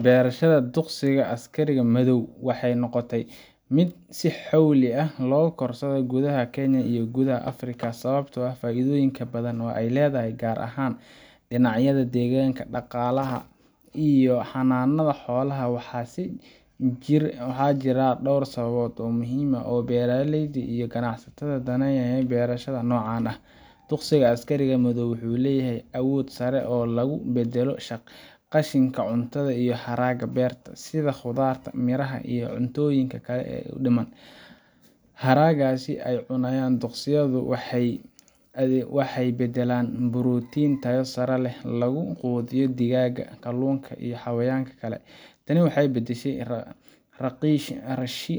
Beerashada duqsiga Askariga Madow waxay noqotay mid si xawli ah u koraysa gudaha Kenya iyo guud ahaan Afrika sababtoo ah faa’iidooyin badan oo ay leedahay, gaar ahaan dhinacyada deegaanka, dhaqaalaha iyo xanaanada xoolaha. Waxaa jira dhowr sababood oo muhiim u ah beeraleyda iyo ganacsatada danaynaya beerashada noocan ah: Duqsiga Askariga Madow wuxuu leeyahay awood sare oo lagu beddelo qashinka cuntada iyo haraaga beerta sida khudradda, miraha, iyo cuntooyinka kale ee dhiman. Haragaas ay cunaan duqsiyadu waxay u beddelaan borotiin tayo sare leh, oo lagu quudiyo digaagga, kalluunka iyo xayawaanka kale. Tani waxay beddeshaa